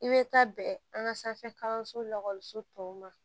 I bɛ taa bɛn an ka sanfɛ kalanso la so tɔw ma